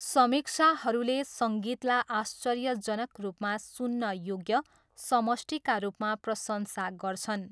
समीक्षाहरूले सङ्गीतलाई आश्चर्यजनक रूपमा सुन्न योग्य समष्टिका रूपमा प्रशंसा गर्छन्।